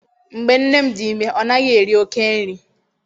Mgbe nne m dị ime, ọ naghị eri oké nri.